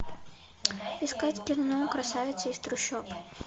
искать кино красавица из трущоб